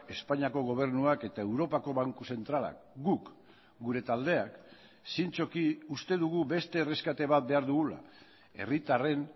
espainiako gobernuak eta europako banku zentralak guk gure taldeak zintzoki uste dugu beste erreskate bat behar dugula herritarren